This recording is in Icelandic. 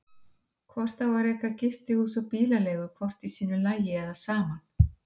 Hvort á að reka gistihús og bílaleigu hvort í sínu lagi eða saman?